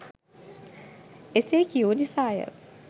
එසේකියූ නිසාය.